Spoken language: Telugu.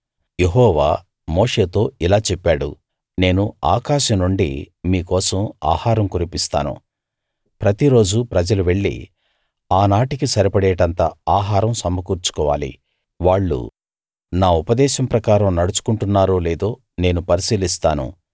యెహోవా మోషేతో ఇలా చెప్పాడు నేను ఆకాశం నుండి మీ కోసం ఆహారం కురిపిస్తాను ప్రతిరోజూ ప్రజలు వెళ్లి ఆనాటికి సరిపడేటంత ఆహారం సమకూర్చుకోవాలి వాళ్ళు నా ఉపదేశం ప్రకారం నడుచుకుంటున్నారో లేదో నేను పరిశీలిస్తాను